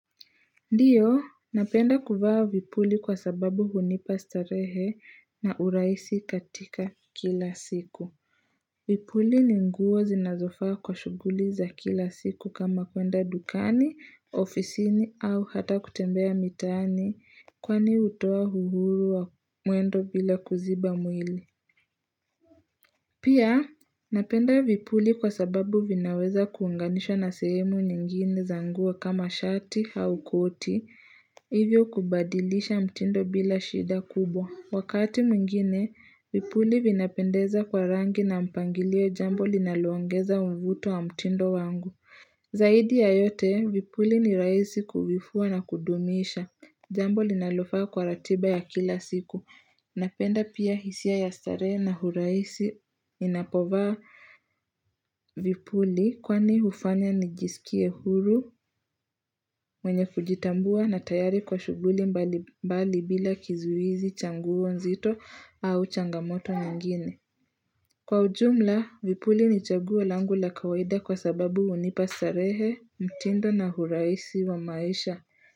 Ndiyo, napenda kuvaa vipuli kwa sababu hunipa starehe na urahisi katika kila siku. Vipuli ni nguo zinazofaa kwa shughuli za kila siku kama kwenda dukani, ofisini au hata kutembea mitaani kwani hutoa uhuru wa mwendo bila kuziba mwili. Pia, napenda vipuli kwa sababu vinaweza kuunganishwa na sehemu nyingine za nguo kama shati au koti, hivyo kubadilisha mtindo bila shida kubwa. Wakati mwingine, vipuli vinapendeza kwa rangi na mpangilio jambo linalo ongeza mvuto wa mtindo wangu. Zaidi ya yote, vipuli ni rahisi kuvifua na kudumisha. Jambo linalofaa kwa ratiba ya kila siku. Napenda pia hisia ya starehe na urahisi ninapovaa vipuli kwani hufanya nijiskie huru mwenye kujitambua na tayari kwa shughuli mbali mbali bila kizuizi cha nguo nzito au changamoto nyingine. Kwa ujumla vipuli ni chagua langu la kawaida kwa sababu hunipa starehe mtindo na urahisi wa maisha.